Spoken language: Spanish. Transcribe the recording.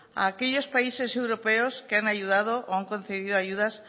a aquellos países europeos que han ayudado o han concedido ayudas